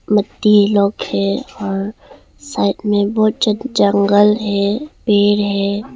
मट्टी लोग है और साइड में बहुत ज्या जंगल है पेड़ हैं।